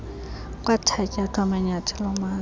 kwathatyathwa manyathelo mani